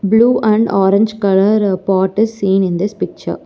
Blue and orange colour pot is seen in this picture.